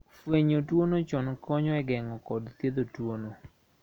Fwenyo tuono chon konyo e geng`o kod thiedho tuono.